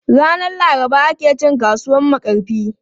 Ranan Laraba ake cin kasuwan Makarfi.